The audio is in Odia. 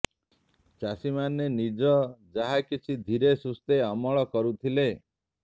ଚାଷୀମାନେ ନିଜ ଯାହା କିଛି ଧିରେ ସୁସ୍ଥେ ଅମଳ କରୁଥିଲେ